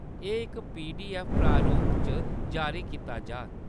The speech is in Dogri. एह्‌‌ इक पीडीऐफ्फ प्रारूप च जारी कीता जाग।